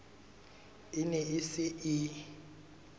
e ne e se e